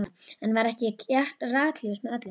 Enn var ekki ratljóst með öllu.